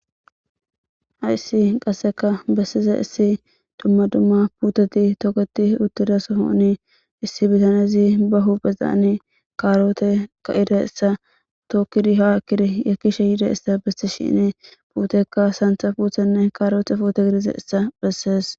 ha issi qasseka bessiza issi dumma dumma puuteti toketi uttida sohoni issi bitanezi bahu bezani kaaroote ka7ida essa tookkidi ha kiri yakishe yiida issa besti shine puutekka santha puthenne kaaroote footo girize essa bessees